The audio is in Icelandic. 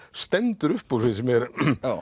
stendur upp úr finnst mér